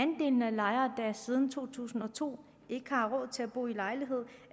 lejere der siden to tusind og to ikke har råd til at bo lejlighed